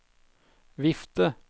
vifte